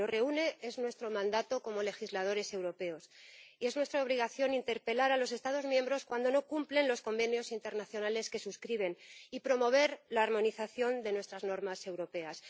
Lo que nos reúne es nuestro mandato como legisladores europeos, y es nuestra obligación interpelar a los Estados miembros cuando no cumplen los convenios internacionales que suscriben y promover la armonización de nuestras normas europeas.